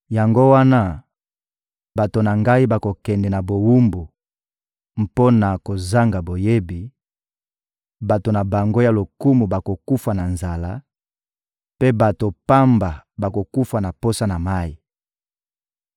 Yango wana, bato na Ngai bakokende na bowumbu mpo na kozanga boyebi; bato na bango ya lokumu bakokufa na nzala, mpe bato pamba bakokufa na posa ya mayi.